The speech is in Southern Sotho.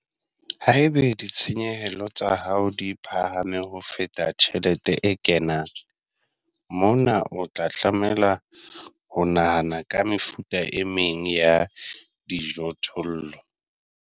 Haeba ditjeho, ditshenyehelo, tsa hao di phahame ho feta tjhelete e kenang, mona o tla tlameha ho nahana ka mefuta e meng ya dijothollo.